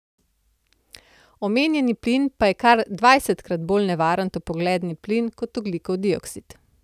Omenjeni plin pa je kar dvajsetkrat bolj nevaren toplogredni plin kot ogljikov dioksid.